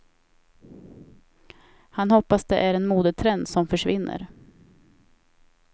Han hoppas det är en modetrend som försvinner.